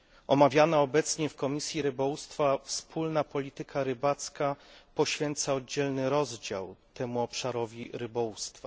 Omawiana obecnie w Komisji Rybołówstwa wspólna polityka rybacka poświęca oddzielny rozdział temu obszarowi rybołówstwa.